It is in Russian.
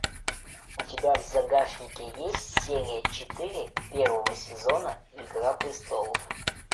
у тебя в загашнике есть серия четыре первого сезона игра престолов